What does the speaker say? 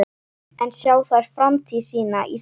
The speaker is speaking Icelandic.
En sjá þær framtíð sína í sveit?